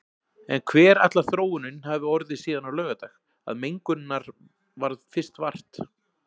En hver ætlar þróunin hafi orðið síðan á laugardag, að mengunarinnar varð fyrst vart?